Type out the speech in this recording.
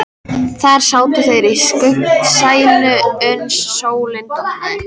Þar sátu þeir í skuggsælu uns sólin dofnaði.